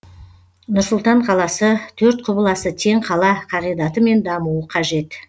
нұр сұлтан қаласы төрт құбыласы тең қала қағидатымен дамуы қажет